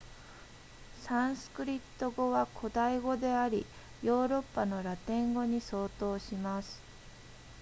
サンスクリット語は古代語でありヨーロッパのラテン語に相当します